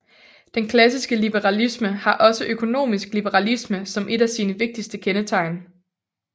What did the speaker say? Den klassiske liberalisme har også økonomisk liberalisme som et af sine vigtigste kendetegn